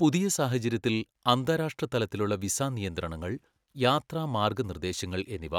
പുതിയ സാഹചര്യത്തിൽ അന്താരാഷ്ട്രതലത്തിലുള്ള വിസാ നിയന്ത്രണങ്ങൾ , യാത്രാ മാർഗ്ഗനിർദ്ദേശങ്ങൾ എന്നിവ